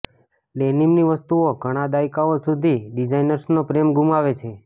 ડેનિમની વસ્તુઓ ઘણા દાયકાઓ સુધી ડિઝાઇનર્સનો પ્રેમ ગુમાવે છે